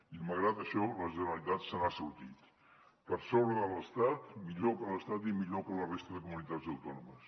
i malgrat això la generalitat se n’ha sortit per sobre de l’estat millor que l’estat i millor que la resta de comunitats autònomes